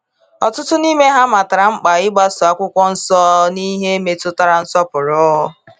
Ọtụtụ n’ime ha matara mkpa ịgbaso akwụkwọ nsọ n’ihe metụtara nsọpụrụ.